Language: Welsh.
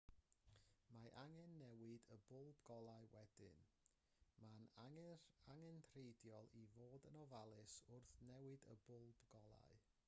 mae angen newid y bwlb golau wedyn mae'n angenrheidiol i fod yn ofalus wrth newid y bwlb golau